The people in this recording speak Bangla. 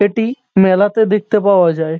এটি মেলাতে দেখতে পাওয়া যায়।